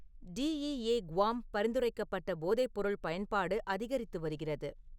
D. E. A. Guam பரிந்துரைக்கப்பட்ட போதைப்பொருள் பயன்பாடு அதிகரித்து வருகிறது